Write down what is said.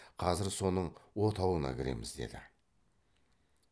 қазір соның отауына кіреміз деді